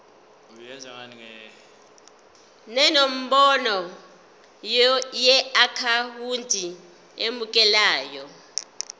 nenombolo yeakhawunti emukelayo